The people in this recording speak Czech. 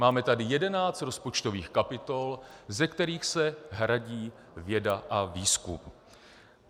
Máme tady jedenáct rozpočtových kapitol, ze kterých se hradí věda a výzkum.